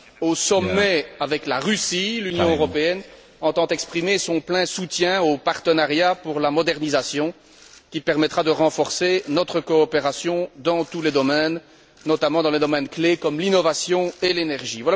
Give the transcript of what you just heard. Au sommet avec la Russie, l'Union européenne entend exprimer son plein soutien au partenariat pour la modernisation qui permettra de renforcer notre coopération dans tous les domaines, notamment dans les domaines clés comme l'innovation et l'énergie.